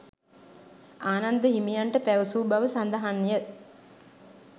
ආනන්ද හිමියන්ට පැවසූ බව සඳහන් ය.